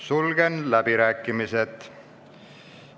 Sulgen läbirääkimised.